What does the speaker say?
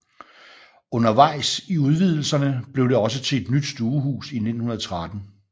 Undervejs i udvidelserne blev det også til et nyt stuehus i 1913